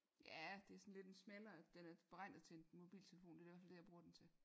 Ja det er sådan lidt en smallere den er beregnet til en mobiltelefon det er i hvert fald det jeg bruger den til